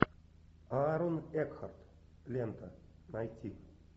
аарон экхарт лента найти